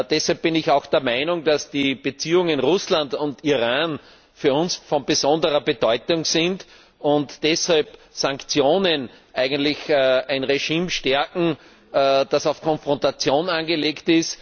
Deshalb bin ich auch der Meinung, dass die Beziehungen zu Russland und Iran für uns von besonderer Bedeutung sind und Sanktionen eigentlich ein Regime stärken, das es auf Konfrontation anlegt.